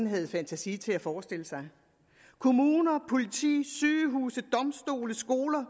havde fantasi til forestille sig kommuner politi sygehuse domstole skoler